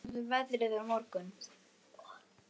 Blædís, hvernig verður veðrið á morgun?